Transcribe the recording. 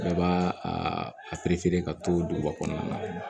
Bɛɛ b'a a ka to duguba kɔnɔna na